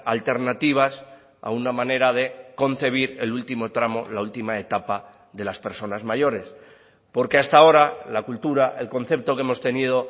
alternativas a una manera de concebir el último tramo la última etapa de las personas mayores porque hasta ahora la cultura el concepto que hemos tenido